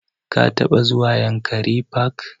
Ka taɓa zuwa yankari park?